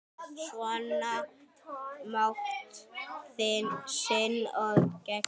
Sýna mátt sinn og megin.